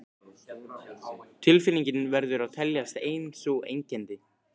Tilfinningin verður að teljast ein sú einkenni